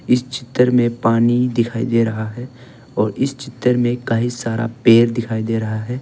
इस चित्र में पानी दिखाई दे रहा है और इस चित्र में कई सारा पेड़ दिखाई दे रहा है।